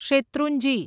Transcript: Shetrunji